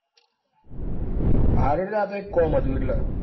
સારું હેડ એ તો એક કામ હતું એટલે.